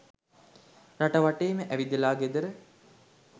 රට වටේම ඇවිදල ගෙදර